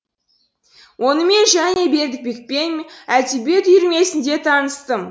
онымен және бердібекпен әдебиет үйірмесінде таныстым